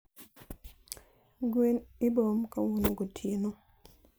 gwen iboom kawuono gotieno